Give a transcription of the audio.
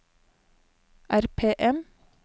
RPM